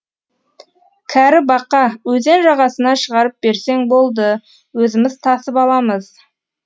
кәрі бақа өзен жағасына шығарып берсең болды өзіміз тасып аламыз